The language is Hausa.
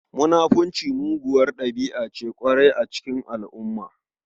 Munafunci muguwar ɗabi'a ce ƙwarai a cikin al'umma.